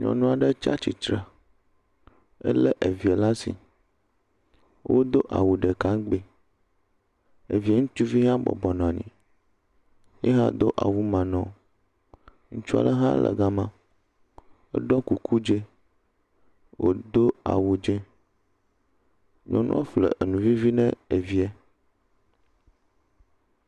Nyɔnu aɖe tsia tsitre, ele evi ɖe asi, wodo awu ɖeka ŋugbi. Evie ŋutsuvi hã bɔbɔ nɔ anyi, ye hã do awu maa nɔ. Ŋutsu aɖe hã nɔ ga ma , eɖɔ kuku dzɛ eye wodo awu dzɛ. Nyɔnua ƒe enu vivi ne ɖevia.